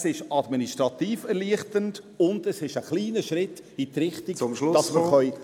Es ist administrativ erleichternd, und es ist ein kleiner Schritt in die Richtung, dass wir ….